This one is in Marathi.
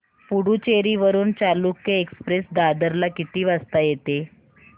पुडूचेरी वरून चालुक्य एक्सप्रेस दादर ला किती वाजता येते